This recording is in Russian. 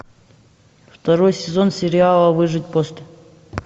второй сезон сериала выжить после